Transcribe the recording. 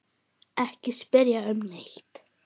Ekki spyrja um neitt.